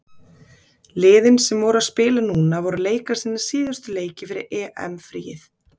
Liðin sem voru að spila núna voru að leika sína síðustu leiki fyrir EM-fríið.